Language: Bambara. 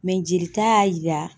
jelita y'a yira